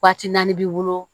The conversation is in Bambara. Waati naani b'i bolo